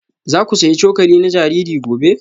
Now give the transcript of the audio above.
Za ku sayi cokali na jariri gobe?